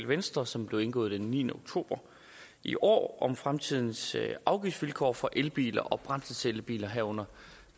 venstre som blev indgået den niende oktober i år om fremtidens afgiftsvilkår for elbiler og brændselscellebiler herunder